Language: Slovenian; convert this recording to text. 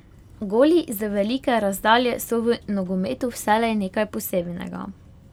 Goli z velike razdalje so v nogometu vselej nekaj posebnega.